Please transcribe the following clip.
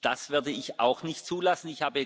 Das werde ich auch nicht zulassen.